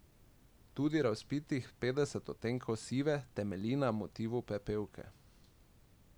Tudi razvpitih Petdeset odtenkov sive temelji na motivu Pepelke.